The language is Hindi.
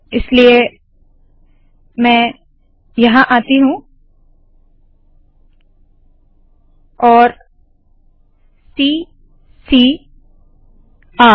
इसलिए मैं यहाँ आती हूँ और सी सी र